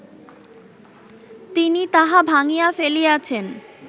তিনি তাহা ভাঙ্গিয়া ফেলিয়াছেন